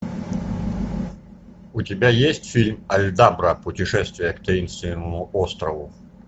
у тебя есть фильм альдабра путешествие к таинственному острову